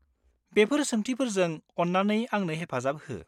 बेफोर सोंथिफोरजों अन्नानै आंनो हेफाजाब हो।